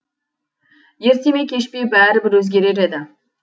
ерте ме кеш пе бәрібір өзгерер еді